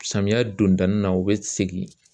Samiyɛ dondanin na u bɛ segin